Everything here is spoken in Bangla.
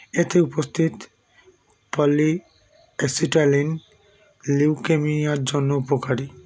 এতে উপস্থিত polyacetylene leukemia -র জন্য উপকারী